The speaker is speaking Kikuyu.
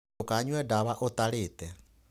Ndũkanyue ndawa ũtarĩte.